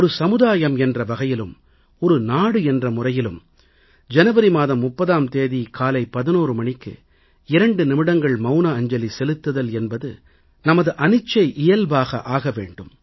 ஒரு சமுதாயம் என்ற வகையிலும் ஒரு நாடு என்ற முறையிலும் ஜனவரி மாதம் 30ஆம் தேதி காலை 11 மணிக்கு 2 நிமிடங்கள் மவுன அஞ்சலி செலுத்துதல் என்பது நமது அனிச்சை இயல்பாக ஆக வேண்டும்